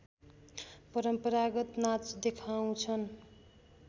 परम्परागत नाच देखाउँछन्